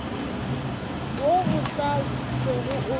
wo o tla bego o